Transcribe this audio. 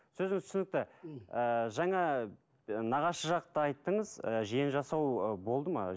сөзіңіз түсінікті ы жаңа нағашы жақты айттыңыз ы жиенжасау болды ма